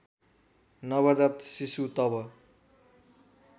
नवजात शिशु तब